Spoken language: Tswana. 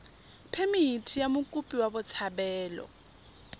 phemithi ya mokopi wa botshabelo